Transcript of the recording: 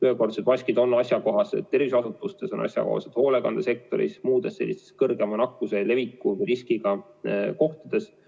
Ühekordsed maskid on asjakohased terviseasutustes, on asjakohased hoolekandesektoris ja muudes sellistes kõrgema nakkuse leviku riskiga kohtades.